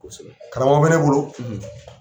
Karamɔgɔ bɛ ne bolo.